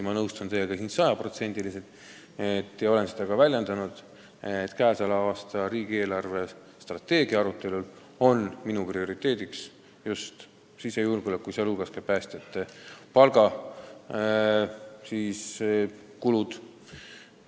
Ma nõustun teiega siin sada protsenti ja olen ka väljendanud seda, et käesoleva aasta riigi eelarvestrateegia arutelul on minu prioriteet just sisejulgeolek, sh päästjate palgakulud.